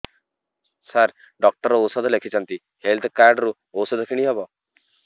ସାର doctor ଔଷଧ ଲେଖିଛନ୍ତି health card ରୁ ଔଷଧ କିଣି ହେବ